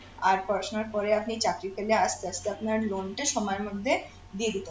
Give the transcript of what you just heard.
আর পড়াশোনার পরে আপনি চাকরি পেলে আস্তে আস্তে আপনার loan টা সময়ের মধ্যে দিয়ে দেবেন